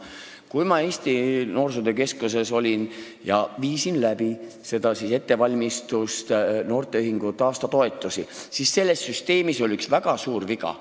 Kui ma Eesti Noorsootöö Keskuses olin ja tegelesin noorteühingute aastatoetustega, siis ma nägin, et selles süsteemis oli üks väga suur viga.